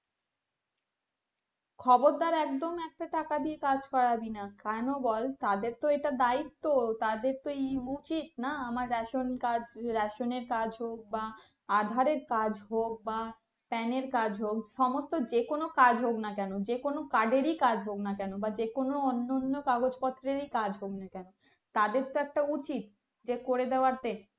PAN এর কাজ সমস্ত যে কোনো কাজ হোগ না কেনো যে কোনো card এরই কাজ হোগ না কেন বা যে কোনো অন্য অন্য কাগজ পত্রেরই কাজ হোগ না কেন তাদের তো একটা উচিত যে করে দেয়াতে